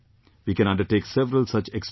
We can undertake several such experiments